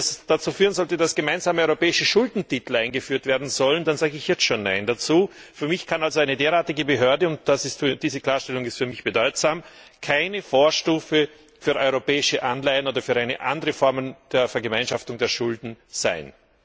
Wenn es dazu führen sollte, dass gemeinsame europäische Schuldentitel eingeführt werden sollen, dann sage ich jetzt schon nein dazu. Für mich kann eine derartige Behörde und diese Klarstellung ist für mich bedeutsam keine Vorstufe für europäische Anleihen oder für eine andere Form der Vergemeinschaftung der Schulden sein.